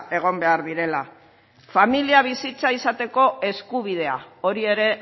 egon behar direla familia bizitza izateko eskubidea hori ere